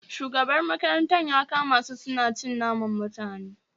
Shugaban makarantar ya kama su suna cin naman mutane